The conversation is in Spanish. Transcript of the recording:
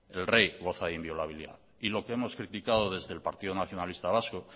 el rey goza de inviolabilidad y lo que hemos criticado desde el partido nacionalista vasco